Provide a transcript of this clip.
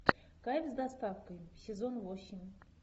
кайф с доставкой сезон восемь